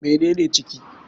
Mene ne ciki?